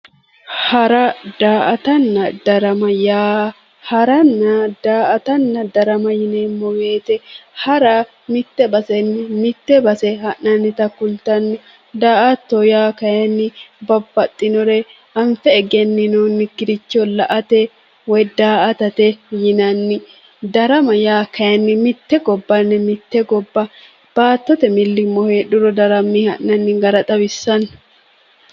Hara, daa"attanna darama yaa, haranna daa"attanna darama yinneemmo woyte hara mite baseni mite base ha'nannitta kulittano, daa"atto kayinni anfe egeninonikkiricho la"ate woyi daa"attate yinnanni, daramate yaa kayinni mite gobbanni mite gobba baattote milimilo heedhuro darame ha'nanni gara xawissano.